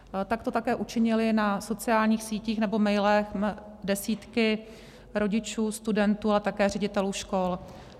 Tak to také učinily na sociálních sítích nebo mailech desítky rodičů, studentů, ale také ředitelů škol.